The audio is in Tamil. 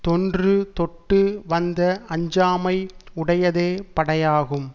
தொன்று தொட்டுவந்த அஞ்சாமை உடையதே படையாகும்